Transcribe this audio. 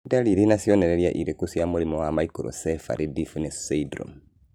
Nĩ ndariri na cionereria irĩkũ cia mũrimũ wa Microcephaly deafness syndrome?